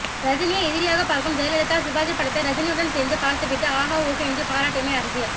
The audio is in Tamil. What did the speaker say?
ரஜினியை எதிரியாகப் பார்க்கும் ஜெயலலிதா சிவாஜி படத்தை ரஜினியுடன் சேர்ந்து பார்த்து விட்டு ஆகா ஓகோ என்று பாராட்டியமை அரசியல்